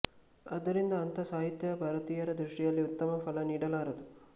ಆದ್ದರಿಂದ ಅಂಥ ಸಾಹಿತ್ಯ ಭಾರತೀಯರ ದೃಷ್ಟಿಯಲ್ಲಿ ಉತ್ತಮ ಫಲ ನೀಡಲಾರದು